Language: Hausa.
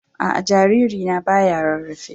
A a, jariri na baya rarrafe ba.